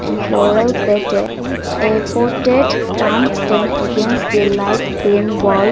a floral airported plants against the light green wall.